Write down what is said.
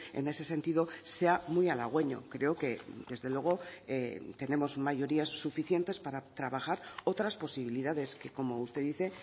en ese sentido sea muy halagüeño creo que desde luego tenemos mayorías suficientes para trabajar otras posibilidades que como usted dice